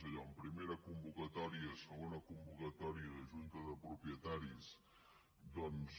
allò en primera convocatòria segona convocatòria de junta de propietaris doncs